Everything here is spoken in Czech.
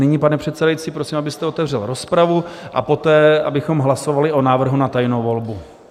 Nyní, pane předsedající, prosím, abyste otevřel rozpravu, a poté abychom hlasovali o návrhu na tajnou volbu.